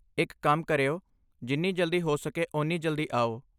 ਇੱਕ ਕੰਮ ਕਰਿਓ, ਜਿੰਨੀ ਜਲਦੀ ਹੋ ਸਕੇ ਓਨੀ ਜਲਦੀ ਆਓ।